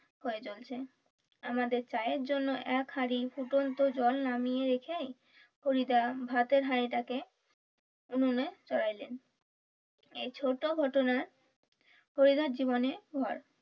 আমাদের চায়ের জন্য এক হাড়ি ফুটন্ত জল নামিয়ে রেখেই হরিদা ভাতের হাড়ি টাকে উনুনে চড়াইলেন এই ছোট ঘটনা হরিদার জীবনে হয়।